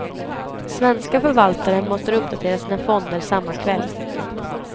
Svenska förvaltare måste uppdatera sina fonder samma kväll.